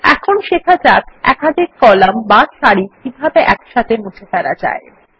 এখন শেখা যাক একাধিক কলাম বা সারি কিভাবে একসাথে মুছে ফেলা যায়